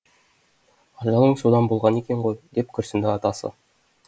ажалың содан болған екен ғой деп күрсінді атасы